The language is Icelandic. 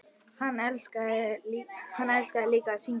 Hann elskaði líka að syngja.